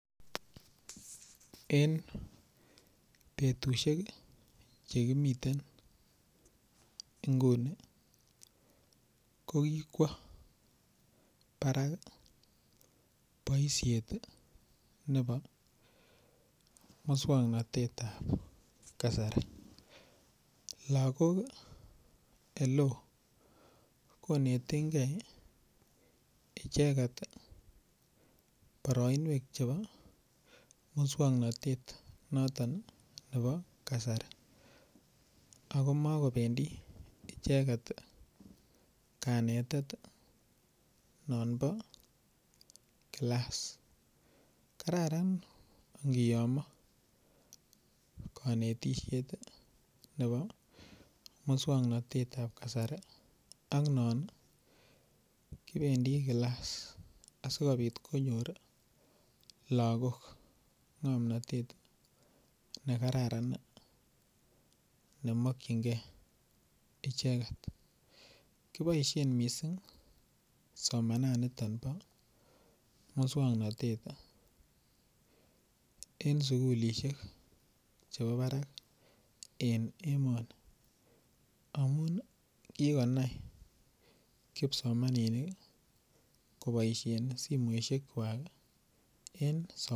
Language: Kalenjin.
Eng betushek chekimiten nguni ko kikwo barak boishet nebo muswongnotet ap kasari lakok oleo konetengei icheget boroinwek chebo muswongnotet noton nebo kasari ako makobendi icheket kanetishet non bo kilass kararan ngiyom konetisiet nebo muswongnotet ap kasari ak non kibendi kilass asikobit konyor lakok ng'omnotet ne kararan nemakchingei icheket kiboishen mising somananito bo muswongnotet en sukulishek chebo barak en emoni amun kikonai kipsomaninik koboishen simoshek kwak eng somanet.